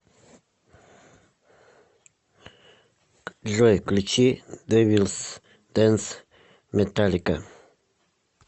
джой включи девилс дэнс металлика